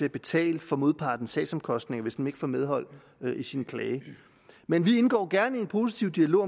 at betale for modpartens sagsomkostninger hvis vedkommende ikke får medhold i sin klage men vi indgår gerne i en positiv dialog